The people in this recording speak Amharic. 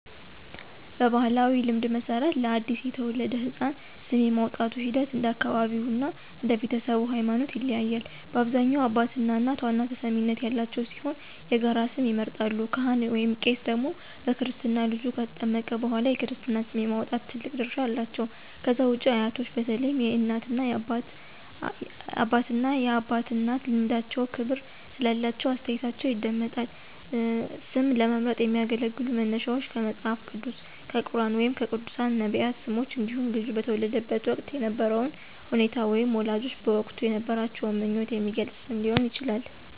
በባሕላዊ ልማድ መሠረት፣ ለአዲስ የተወለደ ሕፃን ስም የማውጣቱ ሂደት እንደ አካባቢው እና እንደ ቤተሰቡ ሃይማኖት ይለያያል። በአብዛኛው አባትና እናት ዋና ተሰሚነት ያላቸው ሲሆን የጋራ ስም ይመርጣሉ። ካህን/ቄስ ደግሞ በክርስትና ልጁ ከተጠመቀ በኋላ የክርስትና ስም የማውጣት ትልቅ ድርሻ አላቸው። ከዛ ውጪ አያቶች በተለይም የእናት አባትና የአባት እናት ልምዳቸውና ክብር ስላላቸው አስተያየታቸው ይደመጣል። ስም ለመምረጥ የሚያገለግሉ መነሻዎች ከመጽሐፍ ቅዱስ፣ ከቁርኣን ወይም ከቅዱሳን/ነቢያት ስሞች እንዲሁም ልጁ በተወለደበት ወቅት የነበረውን ሁኔታ ወይም ወላጆች በወቅቱ የነበራቸውን ምኞት የሚገልጽ ስም ሊሆን ይችላል።